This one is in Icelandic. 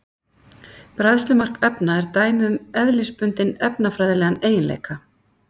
Bræðslumark efna er dæmi um eðlisbundinn efnafræðilegan eiginleika.